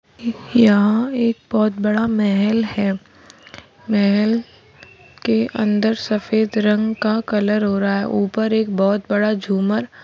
यहाँ एक बहुत बड़ा महल है महल के अंदर सफेद रंग का कलर हो रहा है ऊपर एक बहुत बड़ा झूमर --